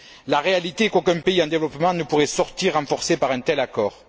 La réalité est qu'aucun pays en développement ne pourrait sortir renforcé par un tel accord.